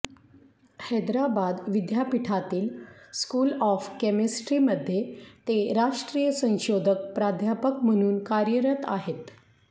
हैदराबाद विद्यापीठातील school of केमिस्ट्रीमध्ये ते राष्ट्रीय संशोधक प्राध्यापक म्हणून कार्यरत आहेत